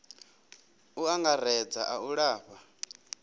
u angaredza a u lafha